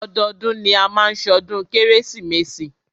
Ọdọọdún ni a máa má ṣọdún kérésìmesì.